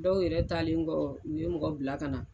Dɔw yɛrɛ taalen kɔ u ye mɔgɔ bila ka na